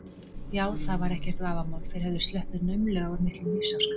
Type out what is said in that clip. Já, það var ekkert vafamál, þeir höfðu sloppið naumlega úr miklum lífsháska.